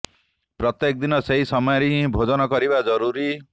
ପ୍ରତ୍ୟେକ ଦିନ ସେଇ ସମୟରେ ହିଁ ଭୋଜନ କରିବା ଜରୁରୀ